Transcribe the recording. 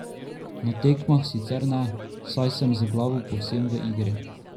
Na tekmah sicer ne, saj sem z glavo povsem v igri.